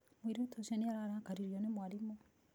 Mũirĩtu ũcio nĩ ararakaririo nĩ mwarimũ.